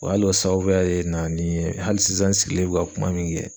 Wa hali o sababuya de nana ni n ye, hali sisan n sigilen be ka kuma min kɛ